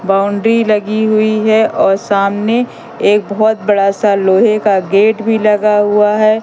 Boundary लगी हुई है और सामने एक बहुत बड़ा सा लोहे का गेट भी लगा हुआ है।